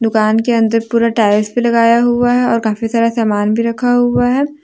दुकान के अंदर पूरा टाइल्स भी लगाया हुआ है और काफी सारा सामान भी रखा हुआ है।